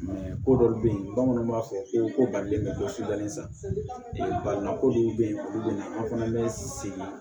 ko dɔw bɛ yen bamananw b'a fɔ ko ko balilen bɛ dɔ sida baɲumankɛ dɔw bɛ yen olu bɛ na an fana bɛ sigi